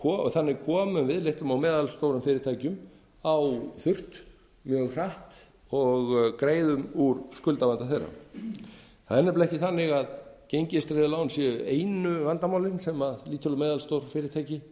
og þannig komum við litlum og meðalstórum fyrirtækjum á þurrt mjög hratt og greiðum úr skuldavanda þeirra það er nefnilega ekki þannig að gengistryggð lán séu einu vandamálin sem lítil og meðalstór fyrirtæki eru